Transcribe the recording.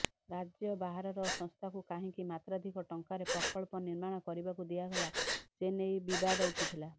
ରାଜ୍ୟ ବାହାରର ସଂସ୍ଥାକୁ କାହିଁକି ମାତ୍ରାଧିକ ଟଙ୍କାରେ ପ୍ରକଳ୍ପ ନିର୍ମାଣ କରିବାକୁ ଦିଆଗଲା ସେନେଇ ବିବାଦ ଉଠିଥିଲା